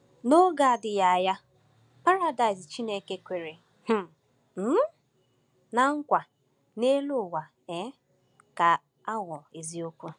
N’oge na-adịghị anya, Paradaịs Chineke kwere um um ná nkwa n’elu ụwa um ga-aghọ eziokwu.